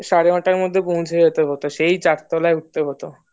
সাড়ে নয়টার দিকে পৌঁছে যেতে হতো সেই চার তলায় উঠতে হতো।